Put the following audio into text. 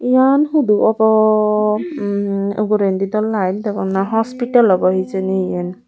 eyan hudu obo mm ugurendi do light degong na hospital obo hejini yen.